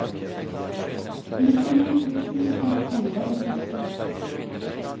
nittini tusen seks hundre og sytti